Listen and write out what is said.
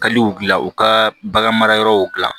Kaliw gila u ka bagan mara yɔrɔw gilan